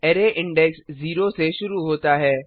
array index 0 से शुरू होता है